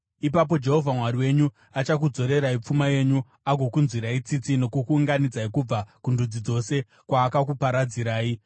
ipapo Jehovha Mwari wenyu achakudzorerai pfuma yenyu agokunzwirai tsitsi nokukuunganidzai kubva kundudzi dzose kwaakakuparadzirai.